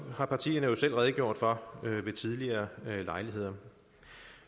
har partierne jo selv redegjort for ved tidligere lejligheder